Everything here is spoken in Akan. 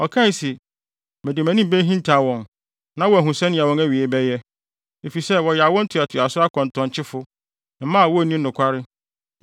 Ɔkae se, “Mede mʼanim behintaw wɔn na wɔahu sɛnea wɔn awiei bɛyɛ Efisɛ, wɔyɛ awo ntoatoaso akɔntɔnkyefo; mma a wonni nokware.